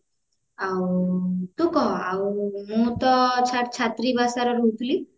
ଆଉ ତୁ କହ ଆଉ ମୁଁ ତ ଛାତ୍ରୀ ବାସରେ ରେ ରହୁଥିଲି